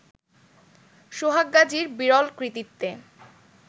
সোহাগ গাজীর বিরল কৃতিত্বে